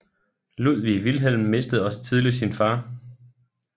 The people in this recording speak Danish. Ludwig Wilhelm mistede også tidligt sin far